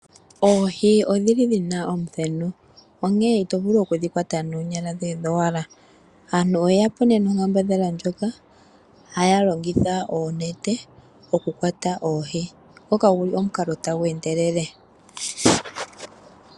Oohi odhili dhina omuthenu, onkene ito vulu okudhi kwata noonyala dhoye dhowala. Aantu oye yapo nee nonkaambadhala ndjoka haya longitha oonete okukwata oohi, ngoka guli omukalo tagu endelele.